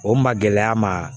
O ma gɛlɛya ma